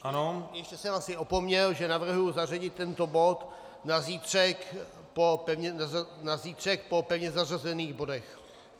Ještě jsem asi opomněl, že navrhuji zařadit tento bod na zítřek po pevně zařazených bodech.